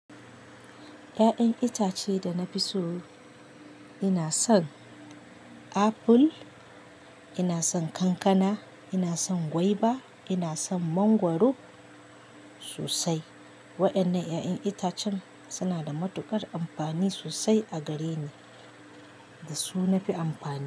Ya'yan itace da na fi so, ina son aful, ina son kankana, ina son gwaiba, ina son mangwaro sosai. Wa'ennan ya'yan itacen suna da matuƙar amfani sosai a gareni da su na fi amfani.